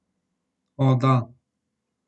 O, da.